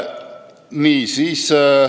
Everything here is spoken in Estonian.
Nii.